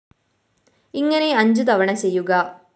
ഇങ്ങനെ അഞ്ചു തവണ ചെയ്യുക